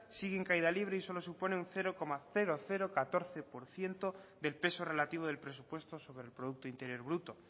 sigue en caída libre y solo supone un cero coma catorce por ciento del peso relativo del presupuesto sobre el producto interior bruto